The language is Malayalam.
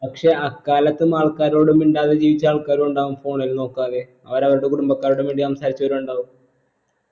പക്ഷെ അക്കാലത്തും ആൾക്കാരോട് മിണ്ടാതെ ജീവിച്ച ആൾക്കാരും ഇണ്ടാകും phone ൽ നോക്കാതെ അവർ അവരുടെ കുടുംബക്കാരുടെ സംസാരിച്ചവരുണ്ടാകും